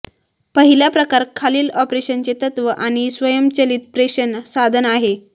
पहिला प्रकार खालील ऑपरेशनचे तत्त्व आणि स्वयंचलित प्रेषण साधन आहे